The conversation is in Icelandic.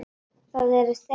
Það eru þeir.